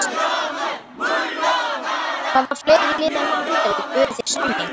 Hvaða fleiri lið en Grindavík buðu þér samning?